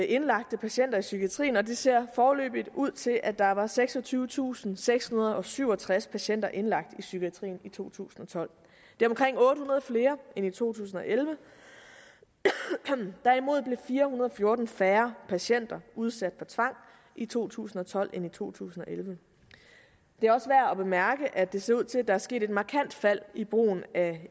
indlagte patienter i psykiatrien og det ser foreløbig ud til at der var seksogtyvetusinde og sekshundrede og syvogtreds patienter indlagt i psykiatrien i to tusind og tolv det er omkring otte hundrede flere end i to tusind og elleve derimod blev fire hundrede og fjorten færre patienter udsat for tvang i to tusind og tolv end i to tusind og elleve det er også værd at bemærke at det ser ud til at der er sket et markant fald i brugen af